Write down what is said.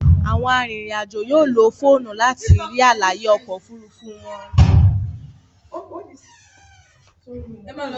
Àwọn arinrin-ajo yóò ló fóònù láti rí àlàyé oko òfurufú wón.